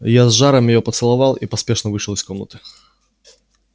я с жаром её поцеловал и поспешно вышел из комнаты